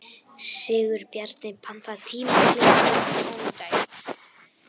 Sigurbjarni, pantaðu tíma í klippingu á mánudaginn.